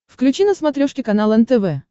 включи на смотрешке канал нтв